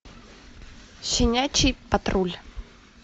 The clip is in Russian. щенячий патруль